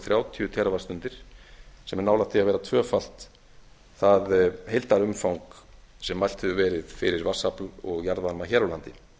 þrjátíu tel á ári sem er nálægt því að vera tvöfalt það heildarumfang sem mælt hefur verið fyrir vatnsafl og jarðvarma hér á landi